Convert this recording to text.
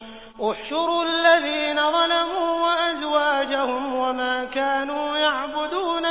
۞ احْشُرُوا الَّذِينَ ظَلَمُوا وَأَزْوَاجَهُمْ وَمَا كَانُوا يَعْبُدُونَ